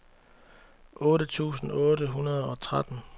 otte tusind otte hundrede og tretten